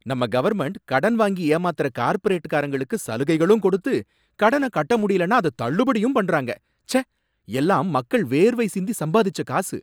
நம்ம கவர்ன்மெண்ட் கடன் வாங்கி ஏமாத்தற கார்ப்பரேட்காரங்களுக்கு சலுகைகளும் கொடுத்து கடன கட்ட முடியலனா அத தள்ளுபடியும் பண்ணிடுறாங்க, ச்சே! எல்லாம் மக்கள் வேர்வை சிந்தி சம்பாதிச்ச காசு